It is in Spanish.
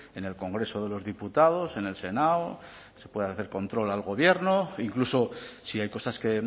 en el congreso de los diputados en el senado se pueda hacer control al gobierno incluso si hay cosas que